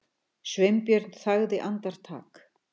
Sveinbjörn þagði andartak.